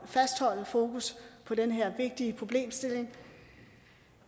fastholde fokus på den her vigtige problemstilling